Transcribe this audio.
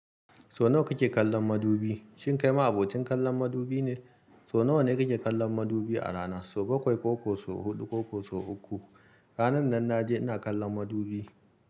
So nawa kake kallon madubi? Shin kai ma abocin kallon madubi ne? So nawa ne kake kallon madubi a rana? So bakwai ko ko so huɗu ko ko so uku. Ranar nan na je ina kallon madubi.